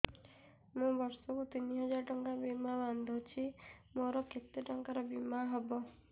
ମୁ ବର୍ଷ କୁ ତିନି ହଜାର ଟଙ୍କା ବୀମା ବାନ୍ଧୁଛି ମୋର କେତେ ଟଙ୍କାର ବୀମା ହବ